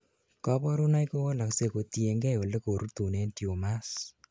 kaborunoik kowalaksei kotiengei olekorutunen tumors